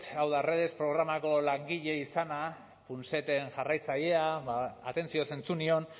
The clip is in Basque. hau da redes programako langile izana punseten jarraitzailea atentzioz entzun nion